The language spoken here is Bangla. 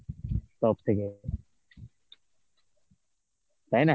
সব থেকে. তাই না?